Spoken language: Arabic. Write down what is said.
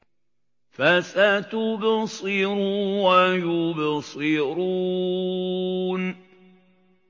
فَسَتُبْصِرُ وَيُبْصِرُونَ